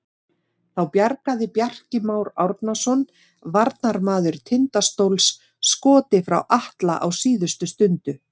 Þá bjargaði Bjarki Már Árnason varnarmaður Tindastóls skoti frá Atla á síðustu stundu.